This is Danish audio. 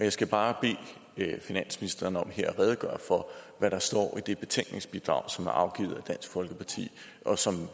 jeg skal bare bede finansministeren om her at redegøre for hvad der står i det betænkningsbidrag som er afgivet af dansk folkeparti og som